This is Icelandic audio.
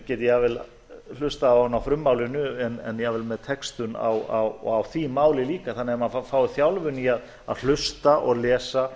geti jafnvel hlustað á hana á frummálinu en jafnvel með textun á því máli líka þannig að maður fái þjálfun í að hlusta og lesa